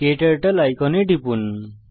ক্টার্টল আইকনে টিপুন